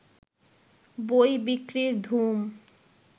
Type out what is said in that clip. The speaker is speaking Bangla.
বই বিক্রির ধুম